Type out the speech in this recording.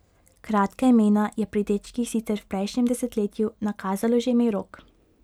Kratka imena je pri dečkih sicer v prejšnjem desetletju nakazalo že ime Rok.